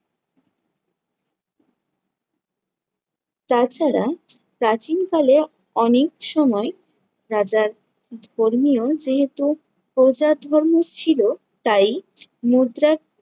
তাছাড়া প্রাচীন কালে অনেক সময় রাজার ধর্মীয় যেহেতু প্রজাধর্ম ছিল তাই মুদ্রা